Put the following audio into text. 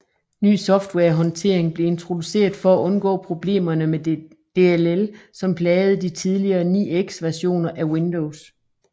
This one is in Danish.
Ny softwarehåndtering blev introduceret for at undgå problemerne med DLL som plagede de tidligere 9x versioner af Windows